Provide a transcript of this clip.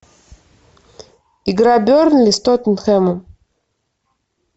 игра бернли с тоттенхэмом